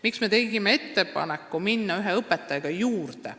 Miks me tegime ettepaneku üks õpetaja lisada?